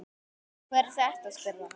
Hver er þetta, spurði hann.